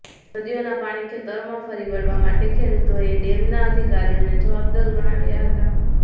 નદીઓના પાણી ખેતરમાં ફરી વળવા માટે ખેડૂતોએ ડેમના અધિકારીઓને જવાબદાર ગણાવ્યું હતા